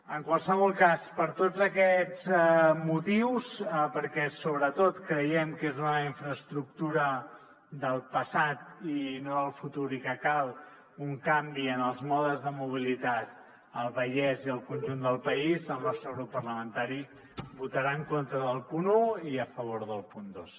en qualsevol cas per tots aquests motius perquè sobretot creiem que és una infraestructura del passat i no del futur i que cal un canvi en els modes de mobilitat al vallès i al conjunt del país el nostre grup parlamentari votarà en contra del punt un i a favor del punt dos